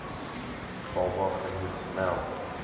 baba genoeg melk